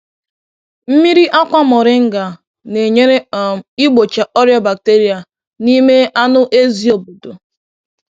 Mmiri akwa moringa na-enyere um igbochi ọrịa bacteria n’ime anụ ezi obodo.